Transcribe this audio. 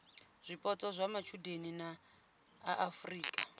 zwipotso zwa matshudeni a afurika